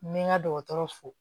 N bɛ n ka dɔgɔtɔrɔ fo